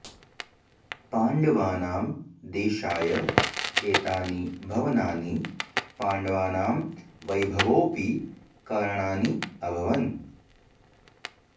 पाण्डवानां देषाय एतानि भवनानि पाण्डवानां वैभवोऽपि कारणानि अभवन्